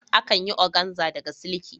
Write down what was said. Akan yi oganza daga siliki.